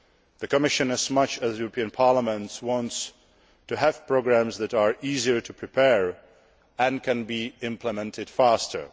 The Commission, as much as the European Parliament, wants to have programmes that are easier to prepare and can be implemented faster.